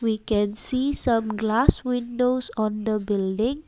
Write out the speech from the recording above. we can see some glass windows on the building.